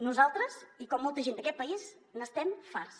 nosaltres i com molta gent d’aquest país n’estem farts